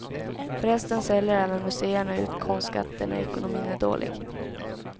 Förresten säljer även museerna ut konstskatter när ekonomin är dålig.